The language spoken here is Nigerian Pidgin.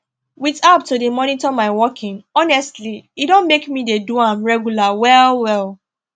with app to dey monitor my walking honestly e don make me dey do am regular well well